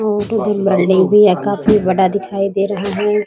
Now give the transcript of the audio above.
काफी बड़ा दिखाई दे रहा है ।